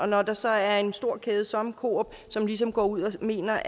når der så er en stor kæde som coop som ligesom går ud og mener